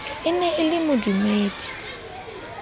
e ne e le modumedi